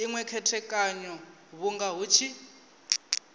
inwe khethekanyo vhunga hu tshi